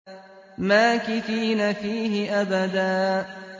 مَّاكِثِينَ فِيهِ أَبَدًا